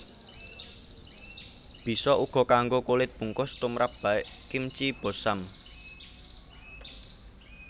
Bisa uga kanggo kulit bungkus tumrap baek kimchi bossam